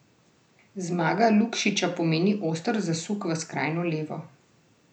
Zmaga Lukšiča pomeni oster zasuk v skrajno levo.